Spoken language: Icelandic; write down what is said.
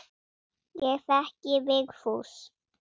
Ég þekki Vigfús.